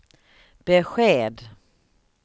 besked